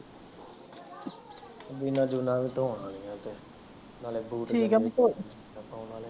ਜਿਨਾ ਜੂਨਾਂ ਵੀ ਤੋਂਹਨ ਵਾਲਿਆਂ ਏ ਤੇ ਨਾਲੇ ਬੂਟ ਠੀਕ ਆ ਮੀਤੇ